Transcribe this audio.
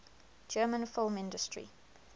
german film industry